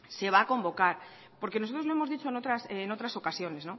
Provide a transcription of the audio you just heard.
se va a convocar porque nosotros lo hemos dicho en otras ocasiones